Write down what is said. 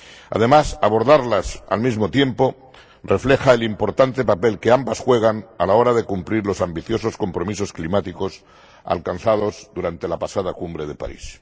Además, abordarlas al mismo tiempo refleja el importante papel que ambas juegan a la hora de cumplir los ambiciosos compromisos climáticos alcanzados durante la pasada Cumbre de París.